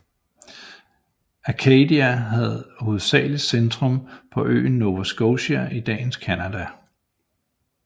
Acadia havde hovedsagelig centrum på øen Nova Scotia i dagens Canada